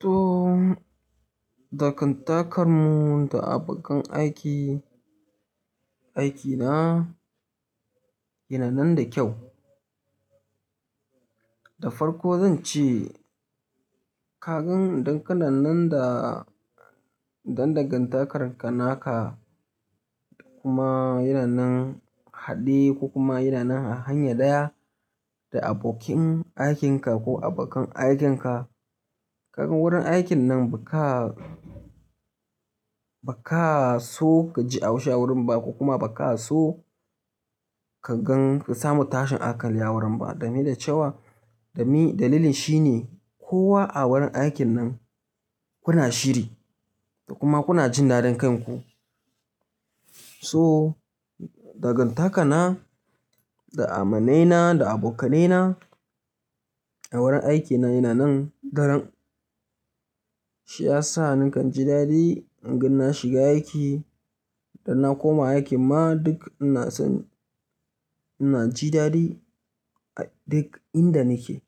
To, dagantakar mu da abokan aiki, aiki na, yana nan da kyau. Da farko zan ce kagan dankana nan da, dandagantakarka naka kuma yana nan haɗe ko kuma yana nan hanya ɗaya da abokin aikin ka ko abokan aikin ka. Kagan wurin aikin nan ba ka, ba ka so ka ji haushi a wurin ba ko kuma ba ka so ka gan, ka samu tashin hankali a wurin ba. Dami da cewa, dami dalilin shi ne kowa a wurin aikin nan kuna shiri da kuma kuna jin dadin kanku. So dagantaka na da amanai na da abokanai na a wurin aikin na yana nan daren. Shi ya sa nakan ji dadi inga na shiga aiki da na koma aiki ma duk ina son ina ji dadi a duk inda nike.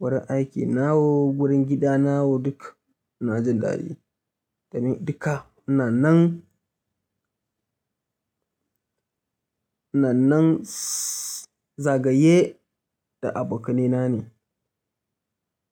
Wurin aiki na wo, gurin gida na wo duk ina jin dadi. Dami duka ina nan, ina nan zagaye da abokanai na ne.